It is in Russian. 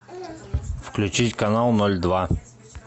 включить канал ноль два